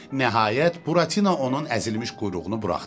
Nəhayət, Buratina onun əzilmiş quyruğunu buraxdı.